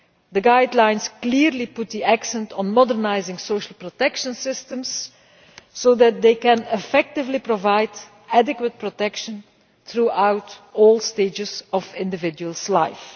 The guidelines clearly put the accent on modernising social protection systems so that they can effectively provide adequate protection throughout all stages of an individual's life.